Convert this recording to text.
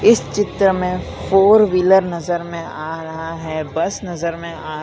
इस चित्र में फोर व्हीलर नजर में आ रहा है बस नजर में आ रा--